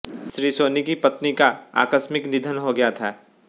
श्री सोनी की पत्नि का आकस्मिक निधन हो गया था